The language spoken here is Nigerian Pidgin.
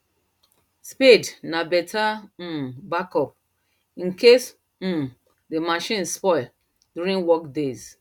spade na better um backup incase um the machines spoil during work days